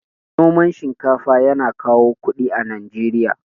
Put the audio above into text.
Noman shinkafa yana kawo kuɗi a Najeriya.